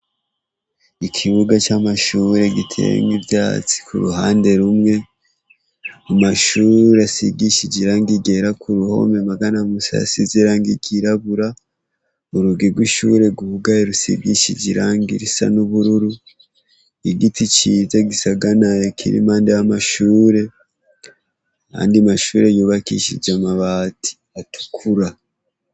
Ikibuga c'amashure giteyemwo ivyatsi ku ruhande rumwe, amashure asigishije irangi ryera ku ruhome amagana musi hasize irangi ryirabura, urugi rw'ishure rwugaye rusigishije irangi risa n'ubururu, igiti ciza gisagaraye kiri impande y'amashure ayandi mashure yubakishije amabati atukura.